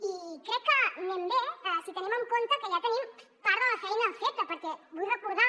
i crec que anem bé si tenim en compte que ja tenim part de la feina feta perquè vull recordar